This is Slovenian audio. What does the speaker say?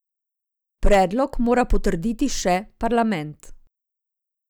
Predlog mora potrditi še parlament.